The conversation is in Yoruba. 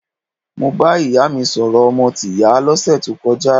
Mo bá ìyá mi sọ̀rọ̀ ọmọ tìyá lọ́sẹ̀ tó kọjá.